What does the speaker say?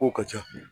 Kow ka ca